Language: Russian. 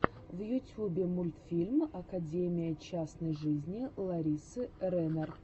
в ютьюбе мультфильм академия частной жизни ларисы ренар